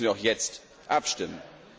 Deswegen müssen wir auch jetzt abstimmen.